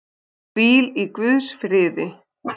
Hvíl í guðs friði.